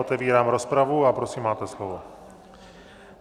Otevírám rozpravu a prosím, máte slovo.